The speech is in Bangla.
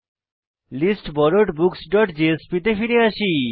listborrowedbooksজেএসপি তে আসি